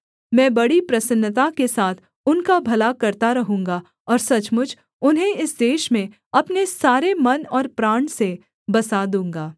मैं बड़ी प्रसन्नता के साथ उनका भला करता रहूँगा और सचमुच उन्हें इस देश में अपने सारे मन और प्राण से बसा दूँगा